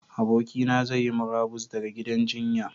Abokina zai yi murabus ɗaga gidan jinya.